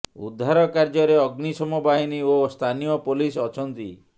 ଉଦ୍ଧାର କାର୍ୟ୍ୟରେ ଅଗ୍ନିଶମ ବାହିନୀ ଓ ସ୍ଥାନୀୟ ପୋଲିସ ଅଛନ୍ତି